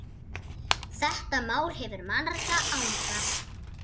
Þetta mál hefur marga anga.